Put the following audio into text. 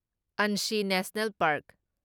Anshi national park